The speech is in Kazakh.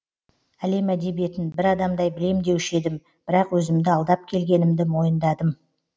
әлем әдебиетін бір адамдай білем деуші едім бірақ өзімді алдап келгенімді мойындадым